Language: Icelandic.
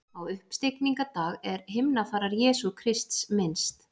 Á uppstigningardag er himnafarar Jesú Krists minnst.